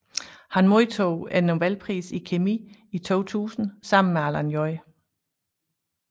Han modtog nobelprisen i kemi i 2000 sammen med Alan J